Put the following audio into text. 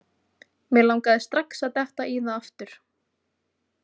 Mig langaði strax að detta í það aftur.